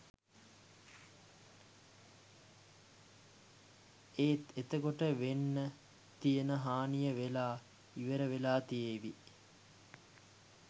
එත් එතකොට වෙන්න තියෙන හානිය වෙලා ඉවරවෙලා තියේවි